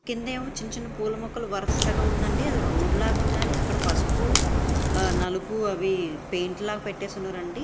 కిందేమో పూల మొక్కలు వరుసగా ఉందండి అది రోడ్లగా ఉన్నది అక్కడ పసుపు నలుపు అవి పెయింట్ లాగా పెట్టేసి ఉన్నారండి.